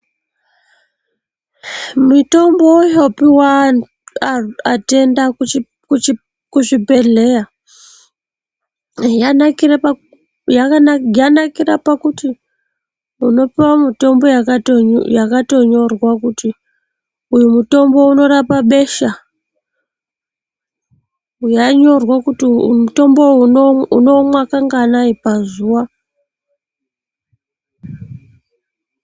Mitombo yopiwa atenda kuzvibhedhleya yanakira pakuti unopiwa mitombo yakatonyorwa kuti uyu mutombo unorapa besha uyu unomwa kanganai pazuva .